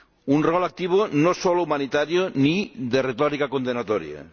Un papel activo no solo humanitario ni de retórica condenatoria.